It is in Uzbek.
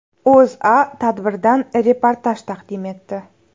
O‘zA tadbirdan reportaj taqdim etdi .